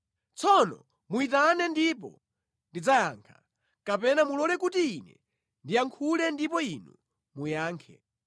Tsono muyitane ndipo ndidzayankha, kapena mulole kuti ine ndiyankhule ndipo Inu muyankhe.